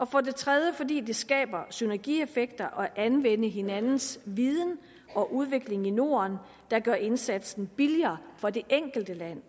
for det tredje fordi det skaber synergieffekter at anvende hinandens viden og udvikling i norden gør indsatsen billigere for det enkelte land